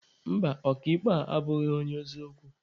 Mba, ọka ikpe a abụghị onye eziokwu.